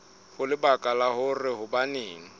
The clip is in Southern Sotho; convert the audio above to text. ho lebaka la hore hobaneng